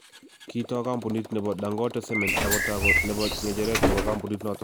Kitoo kampunit nebo Dangote Cement ak kotako nebo ng'echeret nebo kampunit notok.